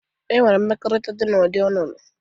E nwere mmekọrịta dị na ụdi ọnụnụ.